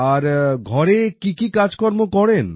আর ঘরে কী কী কাজকর্ম করেন